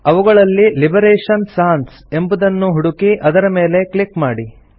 ಅವುಗಳಲ್ಲಿ Liberation Sans ಎಂಬುದನ್ನು ಹುಡುಕಿ ಅದರ ಮೇಲೆ ಕ್ಲಿಕ್ ಮಾಡಿ